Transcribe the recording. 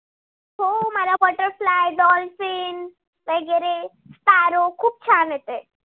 butterfly dolphin वैगेरे sparrow खूप छान येते.